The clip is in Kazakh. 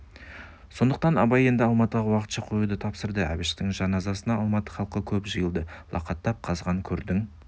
сондықтан абай енді алматыға уақытша қоюды тапсырыпты әбіштің жаназасына алматы халқы көп жиылды лақаттап қазған көрдің